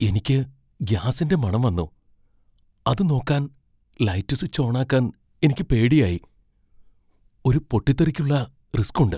എനിക്ക് ഗ്യാസിന്റെ മണം വന്നു , അത് നോക്കാൻ ലൈറ്റ് സ്വിച്ച് ഓണാക്കാൻ എനിക്ക് പേടിയായി . ഒരു പൊട്ടിത്തെറിക്കുള്ള റിസ്ക് ഉണ്ട്.